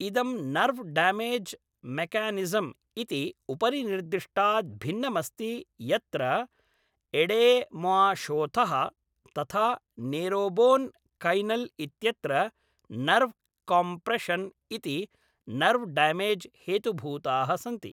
इदं nerve damage mechanism इति उपरिनिर्दिष्टात् भिन्नमस्ति यत्र एडेमाशोथः तथा नेरोबोन् कैनल् इत्यत्र नर्व्ह् कोम्प्रेशन् इति नर्व्ह् डामेज् हेतुभूताः सन्ति।